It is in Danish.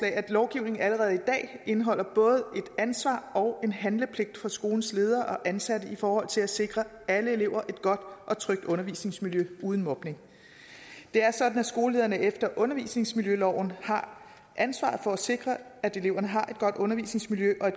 at lovgivningen allerede i dag indeholder et ansvar og en handlepligt for skolens ledere og ansatte i forhold til at sikre alle elever et godt og trygt undervisningsmiljø uden mobning det er sådan at skolelederne efter undervisningsmiljøloven har ansvaret for at sikre at eleverne har et godt undervisningsmiljø og